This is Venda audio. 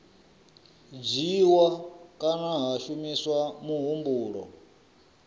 dzhiiwa kana ha shumiswa muhumbulo